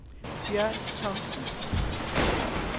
Bjørn Thomsen